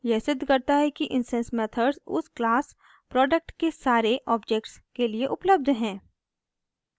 यह सिद्ध करता है कि इंस्टैंस मेथड्स उस क्लास product के सारे ऑब्जेक्ट्स के लिए उपलब्ध हैं